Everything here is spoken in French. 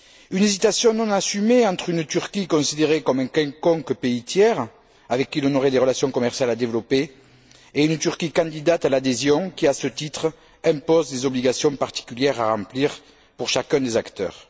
Une hésitation non assumée entre une Turquie considérée comme un quelconque pays tiers, avec qui l'on aurait des relations commerciales à développer, et une Turquie candidate à l'adhésion qui, à ce titre, impose des obligations particulières à remplir pour chacun des acteurs.